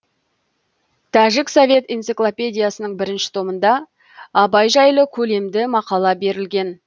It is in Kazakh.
тәжік совет энциклопедиясының бірінші томында абай жайлы көлемді мақала берілген